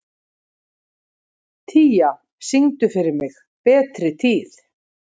Tía, syngdu fyrir mig „Betri tíð“.